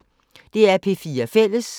DR P4 Fælles